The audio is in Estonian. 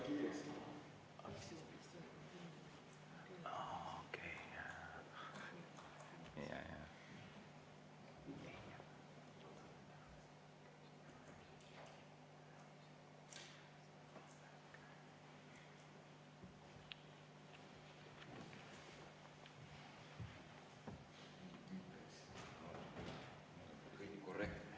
Nüüd on kõik korrektne.